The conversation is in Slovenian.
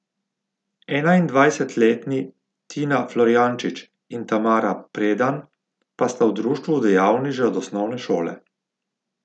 Enaindvajsetletni Tina Florjančič in Tamara Predan pa sta v društvu dejavni že od osnovne šole.